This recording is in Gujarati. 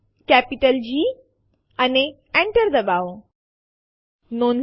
ટર્મિનલ ઉપર ફરીથી જાઓ અને એલએસ ટેસ્ટડિર લખો